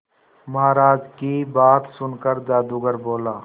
महाराज की बात सुनकर जादूगर बोला